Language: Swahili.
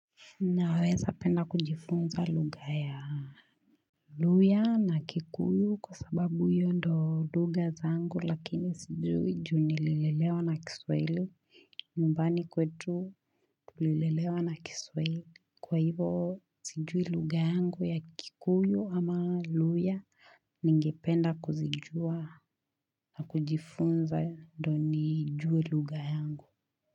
Naweza penda kujifunza lugha ya Luya na kikuyu kwa sababu hiyo ndo lugha zangu lakini sijui juu nililelewa na kiswaili nyumbani kwetu nililelewa na kiswaili Kwa hivo sijui lugha yangu ya kikuyu ama luya Ningependa kuzijua na kujifunza ndo nijue lugha yangu.